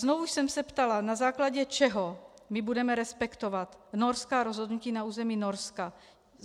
Znovu jsem se ptala, na základě čeho my budeme respektovat norská rozhodnutí na území Norska.